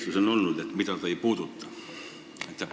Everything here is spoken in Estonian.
Miks on öeldud, et just neid valdkondi see ei puuduta?